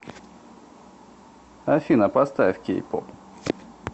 афина поставь кей поп